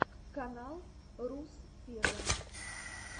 канал руссфегга